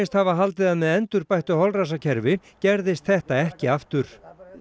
hafa haldið að með endurbættu holræsakerfi gerðist þetta ekki aftur